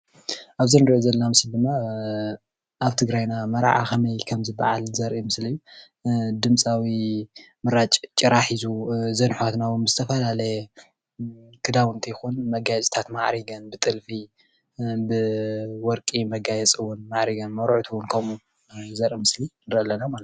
ኣብዚ ንሪኦ ዘለና ምስሊ ድማ ኣብ ትግራይና መርዓ ከመይ ከም ዝበዓል ዘርኢ ምስሊ እዩ። ድምፃዊ ምራጭ ጭራ ሒዙ ዘርኢ እዘን ኣሕዋትና ውን ዝተፈላለየ ክዳውንቲ ይኩን መጋየፂታት ማዕሪገን ብጥልፊ፣ ብወርቂ መጋየፂ ዉን ማዐሪገን መርዑት ውን ከምኡ ዘርኢ ምስሊ ንሪኢ ኣለና ።